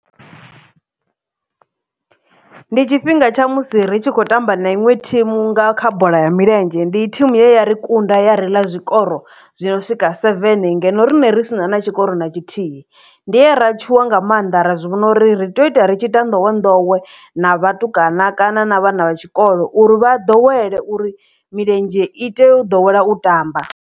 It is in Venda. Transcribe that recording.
Ndi tshifhinga tsha musi ri tshi khou tamba na iṅwe thimu nga kha bola ya milenzhe ndi thimu ye yari kunda ya ri ḽa zwikoro zwi no swika seven ngeno riṋe ri si na na tshikoro na tshithihi ndi hera tshuwa nga mannḓa ra zwi vhona uri ri tea u ita ri tshi ita nḓowenḓowe na vhatukana kana na vhana vha tshikolo uri vha ḓowele uri milenzhe ite u ḓowela u tamba.